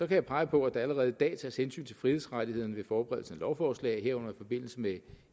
jeg pege på at der allerede i dag tages hensyn til frihedsrettighederne ved forberedelsen af lovforslag herunder i forbindelse med